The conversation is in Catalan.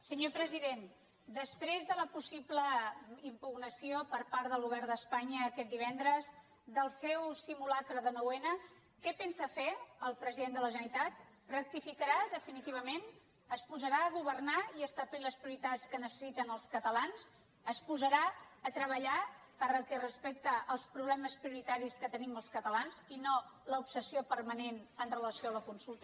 senyor president després de la possible impugnació per part del govern d’espanya aquest divendres del seu simulacre de noun què pensa fer el president de la generalitat rectificarà definitivament es posarà a governar i a establir les prioritats que necessiten els catalans es posarà a treballar pel que fa als problemes prioritaris que tenim els catalans i no l’obsessió permanent amb relació a la consulta